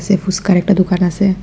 এ ফুচকার একটা দোকান আসে।